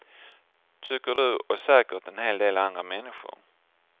Tycker du och säkert en hel del andra människor.